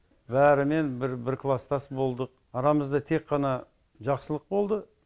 бәрімен бір бір класстас болдық арамызда тек қана жақсылық болды